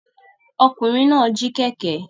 Ọkùnrin náà jí kẹ̀kẹ́.